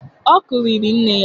Ọ kụriri nne ya.